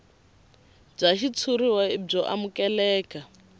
bya xitshuriwa i byo amukeleka